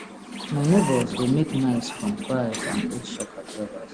my neighbours dey make knives from files and old shock absorbers